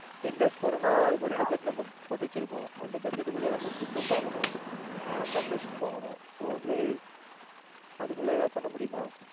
ten days போறோம்னா அதுக்கு ஒரு budget நம்ம போட்டு வச்சி இருப்போம். அந்த Budget குள்ளயே நம்ம food பாக்கணும் accommodation பண்ணணும். so வந்து அதுக்குள்ள ஏதாவது பண்ண முடியுமா?